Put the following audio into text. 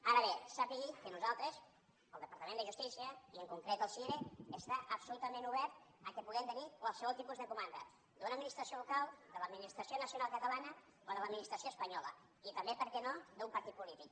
ara bé sàpiga que nosaltres el departament de justícia i en concret el cire estem absolutament oberts que puguem tenir qualsevol tipus de comanda d’una administració local de l’administració nacional catalana o de l’administració espanyola i també per què no d’un partit polític